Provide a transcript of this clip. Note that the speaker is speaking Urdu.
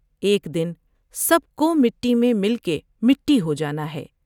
ایک دن سب کو مٹی میں مل کے مٹی ہو جاتا ہے ۔